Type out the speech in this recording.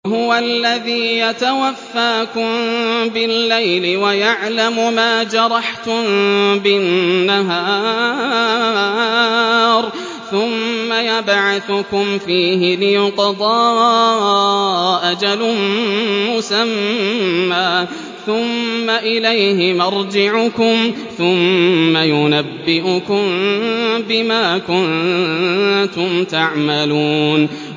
وَهُوَ الَّذِي يَتَوَفَّاكُم بِاللَّيْلِ وَيَعْلَمُ مَا جَرَحْتُم بِالنَّهَارِ ثُمَّ يَبْعَثُكُمْ فِيهِ لِيُقْضَىٰ أَجَلٌ مُّسَمًّى ۖ ثُمَّ إِلَيْهِ مَرْجِعُكُمْ ثُمَّ يُنَبِّئُكُم بِمَا كُنتُمْ تَعْمَلُونَ